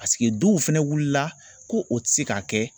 Paseke duw fɛnɛ wilila ko o ti se ka kɛ